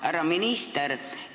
Härra minister!